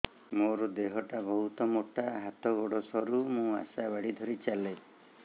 ମୋର ଦେହ ଟା ବହୁତ ମୋଟା ହାତ ଗୋଡ଼ ସରୁ ମୁ ଆଶା ବାଡ଼ି ଧରି ଚାଲେ